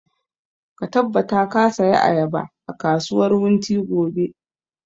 Ka tabbata ka saya ayaba a kasuwar wunti gobe!